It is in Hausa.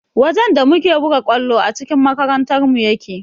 Wajen da muke buga ƙwallo a cikin makarantarmu yake